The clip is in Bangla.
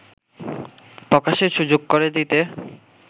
প্রকাশের সুযোগ করে দিতে